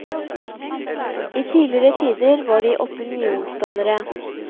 I tidligere tider var de opinionsdannere.